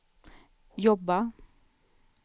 jobba